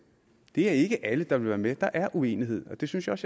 det er ikke alle der vil være med der er uenighed og det synes jeg